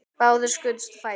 Báðir skutust á fætur.